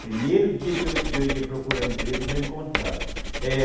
Primeiro dia que eu ia ia procurar emprego, já encontrava. É